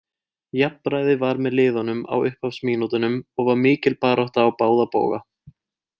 Jafnræði var með liðunum á upphafsmínútunum og var mikil barátta á báða bóga.